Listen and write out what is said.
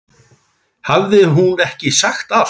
Hafði hún ekki sagt allt?